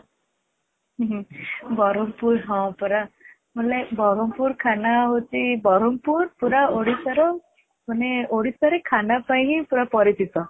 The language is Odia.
ହଁ ପରା ମାନେ ବରମପୁର ଖାନା ହଉଛି, ବରମପୁର ପୁରା ଓଡିଶା ର ମାନେ ଓଡିଶା ରେ ଖାନା ପାଇଁ ହିଁ ପୁରା ପରିଚିତ |